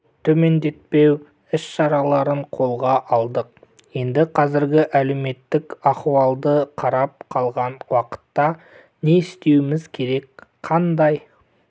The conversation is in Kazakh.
төмендетпеу іс-шараларын қолға алдық енді қазіргі әлеуметтік аіуалды қарап қалған уақытта не істеуіміз керек қандай